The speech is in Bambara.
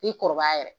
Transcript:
Ni kɔrɔbaya yɛrɛ